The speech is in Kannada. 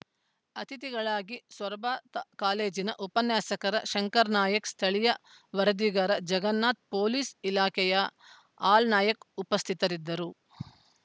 ಅಥಿತಿಗಳಾಗಿ ಸೊರಬ ತ್ ಕಾಲೇಜ್‌ನ ಉಪನ್ಯಾಸಕ ಶಂಕರ್‌ ನಾಯಕ್‌ ಸ್ಥಳೀಯ ವರದಿಗಾರ ಜಗನ್ನಾಥ್‌ ಪೊಲೀಸ್‌ ಇಲಾಖೆಯ ಹಾಲ್‌ನಾಯಕ್‌ ಉಪಸ್ಥಿತರಿದ್ದರು